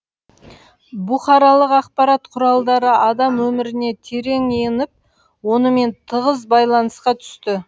бұқаралық ақпарат құралдары адам өміріне терең еніп онымен тығыз байланысқа түсті